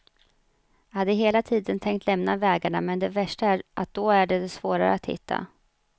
Jag hade hela tiden tänkt lämna vägarna, men det värsta är att då är det svårare att hitta.